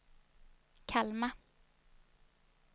Kalmar